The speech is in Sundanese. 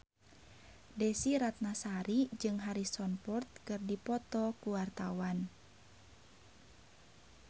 Desy Ratnasari jeung Harrison Ford keur dipoto ku wartawan